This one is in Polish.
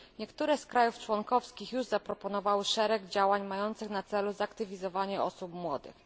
Niektóre z państw członkowskich już zaproponowały szereg działań mających na celu zaktywizowanie osób młodych.